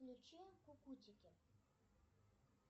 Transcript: включи кукутики